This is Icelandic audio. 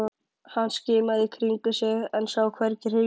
Hann skimaði í kringum sig en sá hvergi hreyfingu.